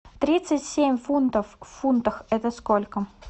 тридцать семь фунтов в фунтах это сколько